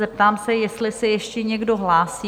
Zeptám se, jestli se ještě někdo hlásí?